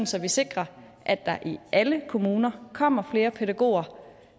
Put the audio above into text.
så vi sikrer at der i alle kommuner kommer flere pædagoger